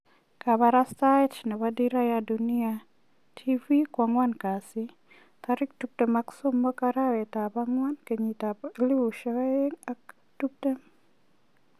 Kabarastaet nebo Dira ya Dunia Tv koan'gwan kasi 23/4/2020